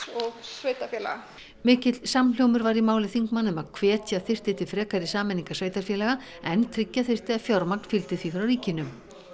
og sveitarfélaga mikill samhljómur var í máli þingmanna um að hvetja þyrfti til frekari sameiningar sveitarfélaga en tryggja þyrfti að fjármagn fylgdi því frá ríkinu